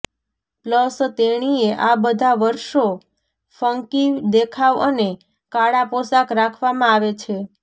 plus તેણીએ આ બધા વર્ષો ફંકી દેખાવ અને કાળા પોશાક રાખવામાં આવે છે